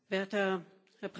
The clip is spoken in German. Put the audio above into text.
Herr Präsident!